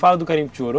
Fala do garimpo de ouro.